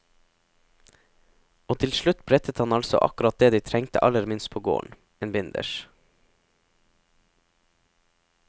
Og til slutt brettet han altså akkurat det de trengte aller minst på gården, en binders.